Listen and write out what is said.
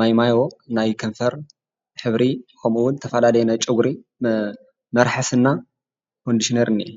ማይ ማዮ ናይ ከንፈር ሕብሪ ኸምኡ እውን ዝተፈላለዩ ናይ ጨጉሪ መ መርሐሲና ኮንዲሽነሪን እዩ፡፡